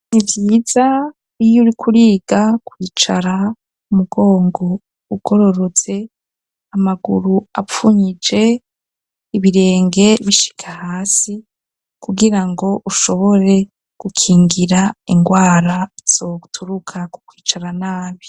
Ni vyiza iyo uriko uriga kwicara umugongo ugororotse ,amaguru apfunyije, ibirenge bishika hasi kugira ngo ushobore gukingira ingwara zoturuka ku kwicara nabi.